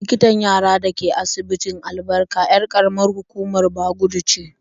Likitan yarar da ke asibitin Albarka 'yar ƙaramar hukumar Bagudu ce.